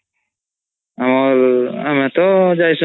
ଔର୍ ଆମେ ତ ଯାଇଚୁ